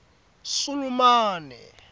sulumane